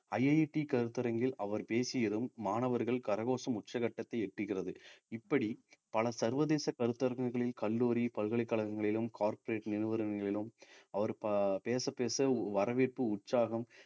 IIT கருத்தரங்கில் அவர் பேசியதும் மாணவர்கள் கரகோஷம் உச்சகட்டத்தை எட்டுகிறது இப்படி பல சர்வதேச கருத்தரங்குகளில் கல்லூரி, பல்கலைக்கழகங்களிலும் corporate நிறுவனங்களிலும் அவர் ப~ பேசப்பேச வரவேற்பு, உற்சாகம்